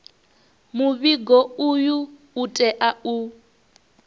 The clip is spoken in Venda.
muvhigo uyu u tea u